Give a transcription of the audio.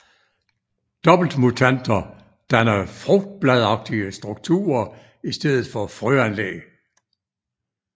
Doppeltmutanter danner frugtbladagtige strukturer i stedet for frøanlæg